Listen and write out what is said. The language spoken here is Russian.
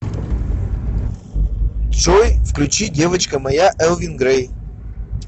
джой включи девочка моя элвин грей